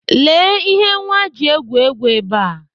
Lee ihe nwa ji egwu egwu ebe a.